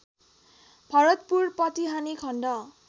भरतपुर पटिहानि खण्ड